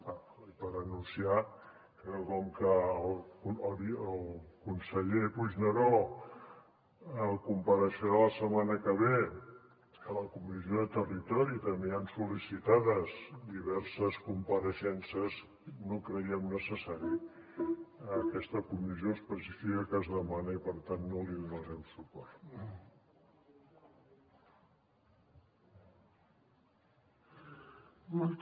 ah i per anunciar que com que el conseller puigneró compareixerà la setmana que ve a la comissió de territori i també hi han sol·licitades diverses compareixences no creiem necessària aquesta comissió específica que es demana i per tant no hi donarem suport